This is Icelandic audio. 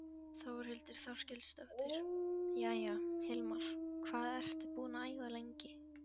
Þórhildur Þorkelsdóttir: Jæja, Hilmar, hvað ertu búinn að æfa lengi?